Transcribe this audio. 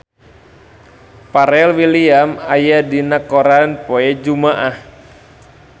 Pharrell Williams aya dina koran poe Jumaah